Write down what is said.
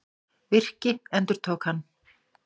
Virki, endurtók hann.